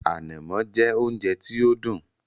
“Ànàmọ́” jẹ́ oúnjẹ tí ó dùn